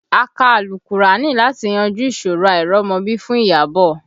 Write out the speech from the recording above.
A kà àlùkùránì láti yanjú ìṣòro àìrọ́mọbí fún Iyabọ̀